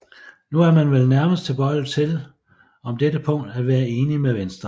Nu er man vel nærmest tilbøjelig til om dette punkt at være enig med Venstre